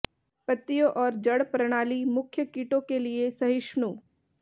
पत्तियों और जड़ प्रणाली मुख्य कीटों के लिए सहिष्णु